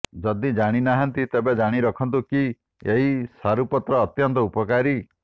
ଯଦି ଜାଣିନାହାନ୍ତି ତେବେ ଜାଣି ରଖନ୍ତୁ କି ଏହି ସାରୁପତ୍ର ଅତ୍ୟନ୍ତ ଉପକାରୀ